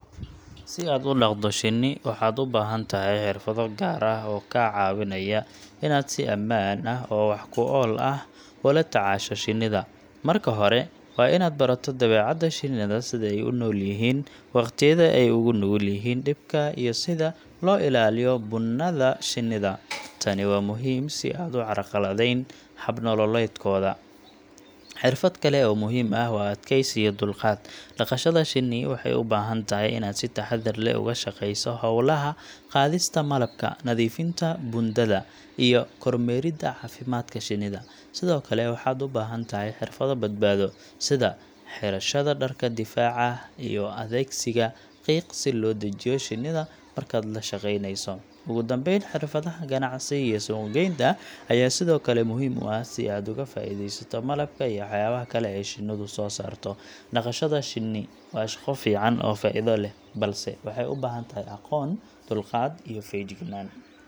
Si aad u dhaqdo shinni, waxaad u baahan tahay xirfado gaar ah oo kaa caawinaya inaad si ammaan ah oo wax-ku-ool ah ula tacaasho shinnida. Marka hore, waa inaad barato dabeecadda shinnida sida ay u noolyihiin, waqtiyada ay ugu nugul yihiin dhibka, iyo sida loo ilaaliyo buundada shinnida. Tani waa muhiim si aanad u carqaladeyn hab nololeedkooda. Xirfad kale oo muhiim ah waa adkaysi iyo dulqaad. Dhaqashada shinni waxay u baahan tahay inaad si taxaddar leh uga shaqayso hawlaha sida qaadista malabka, nadiifinta buundada, iyo kormeeridda caafimaadka shinnida. Sidoo kale, waxaad u baahan tahay xirfado badbaado, sida xirashada dharka difaaca ah iyo adeegsiga qiiqa si loo dejiyo shinnida markaad la shaqaynayso. Ugu dambeyn, xirfadaha ganacsi iyo suuqgeynta ayaa sidoo kale muhiim u ah si aad uga faa’iidaysato malabka iyo waxyaabaha kale ee shinnidu soo saarto. Dhaqashada shinni waa shaqo fiican oo faa'iido leh, balse waxay u baahan tahay aqoon, dulqaad iyo fejignaan.